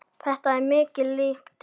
Þetta er mikið lýti.